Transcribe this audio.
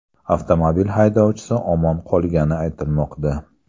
Avtomobil haydovchisi omon qolgani aytilmoqda.